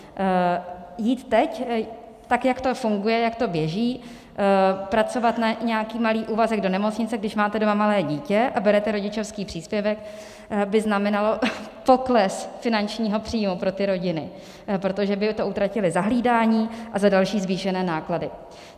Jít teď tak, jak to funguje, jak to běží, pracovat na nějaký malý úvazek do nemocnice, když máte doma malé dítě a berete rodičovský příspěvek, by znamenalo pokles finančního příjmu pro ty rodiny, protože by to utratily za hlídání a za další zvýšené náklady.